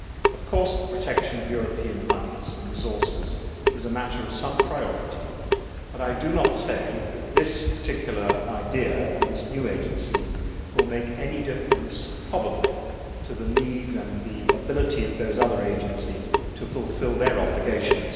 Of course, the protection of European monies and resources is a matter of some priority, but I do not say that this particular idea and this new agency will make any difference, probably, to the need and the ability of those other agencies to fulfil their obligations.